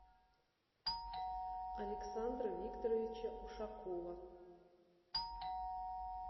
александра викторовича ушакова